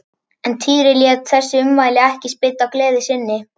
En Týri lét þessi ummæli ekki spilla gleði sinni.